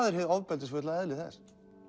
er hið ofbeldisfulla eðli þess